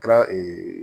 Kɛra